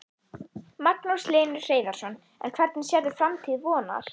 Magnús Hlynur Hreiðarsson: En hvernig sérðu framtíð Vonar?